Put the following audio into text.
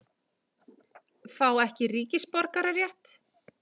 Fá ekki ríkisborgararétt